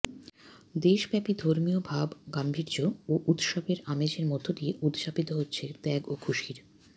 দেশব্যাপী ধর্মীয় ভাবগাম্ভীর্য ও উৎসব আমেজের মধ্য দিয়ে উদযাপিত হচ্ছে ত্যাগ ও খুশির